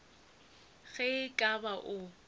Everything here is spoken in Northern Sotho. ge e ka ba o